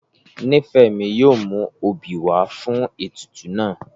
Nífẹ́mi yóò mú obì wá fún àwọn ètùtù náà